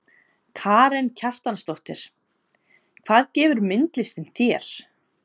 Karen Kjartansdóttir: Hvað gefur myndlistin þér?